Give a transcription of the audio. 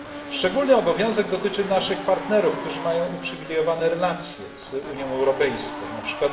Szczególny obowiązek dotyczy naszych partnerów, którzy mają uprzywilejowane relacje z Unią Europejską, np.